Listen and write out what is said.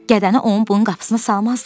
gədəni onun bunun qapısına salmazdı ki!